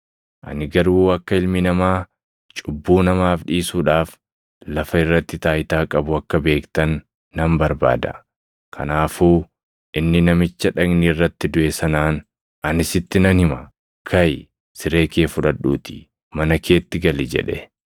Ani garuu akka Ilmi Namaa cubbuu namaaf dhiisuudhaaf lafa irratti taayitaa qabu akka beektan nan barbaada.” Kanaafuu inni namicha dhagni irratti duʼe sanaan, “Ani sitti nan hima; kaʼi; siree kee fudhadhuutii mana keetti gali” jedhe.